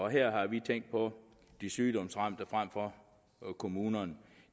her har vi tænkt på de sygdomsramte frem for kommunerne